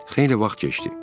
Xeyli vaxt keçdi.